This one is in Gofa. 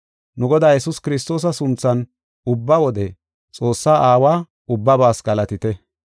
Nu Godaa Yesuus Kiristoosa sunthan ubba wode Xoossaa Aawa ubbabaas galatite.